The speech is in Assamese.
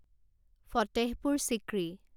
ফতেহপুৰ চিক্ৰী